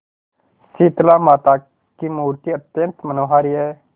शीतलामाता की मूर्ति अत्यंत मनोहारी है